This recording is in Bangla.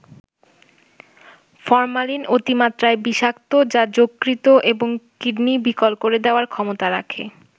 ফরমালিন অতিমাত্রায় বিষাক্ত যা যকৃত এবং কিডনি বিকল করে দেয়ার ক্ষমতা রাখে।